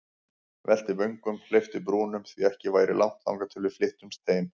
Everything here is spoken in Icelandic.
Velti vöngum, hleypti brúnum, því ekki væri langt þangað til við flyttumst heim.